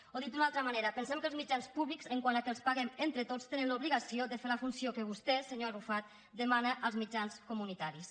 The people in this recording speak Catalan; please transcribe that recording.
o dit d’una altra manera pensem que els mitjans públics quant al fet que els paguem entre tots tenen l’obligació de fer la funció que vostè senyor arrufat demana als mitjans comunitaris